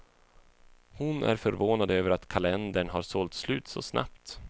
Hon är förvånad över att kalendern har sålt slut så snabbt.